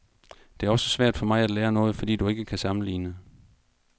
Det er også svært for mig at lære noget, fordi du ikke kan sammenligne.